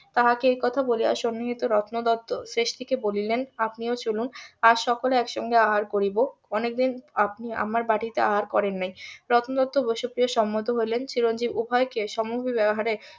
তাহাকে এই কথা বলিয়া সন্নিহিত রত্ন দত্ত . বলিলেন আপনিও চলুন আজ সকলে একসাথে আহার করিব অনেকদিন আপনি আমার বাটিতে আহার করেন নাই রত্ন দত্ত বসু প্রিয় সম্মত হইলেন চিরঞ্জিব উভয়কে সামগ্রী ব্যাবহারে